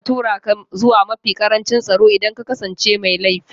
Za a tura ka zuwa mafi ƙarancin tsaro idan ka kasance mai laifi na farko